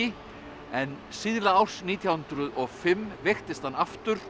en síðla árs nítján hundruð og fimm veiktist hann aftur